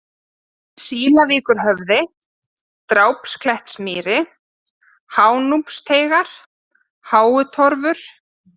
Sílavíkurhöfði, Drápsklettsmýri, Hánúpsteygingar, Háutorfur